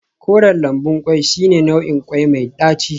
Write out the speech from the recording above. Koren lambun kwai shine nau'in kwai mai daci